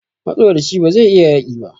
Matsoraci bazai iya yaƙi ba